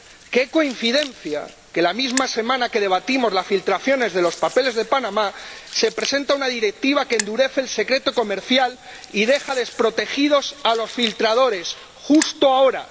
Qué coincidencia que la misma semana que debatimos las filtraciones de los papeles de Panamá se presenta una directiva que endurece el secreto comercial y deja desprotegidos a los filtradores justo ahora.